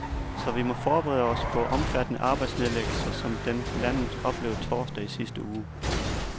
Så vi må forberede sig på omfattende arbejdsnedlæggelser, som den landet oplevede torsdag i sidste uge.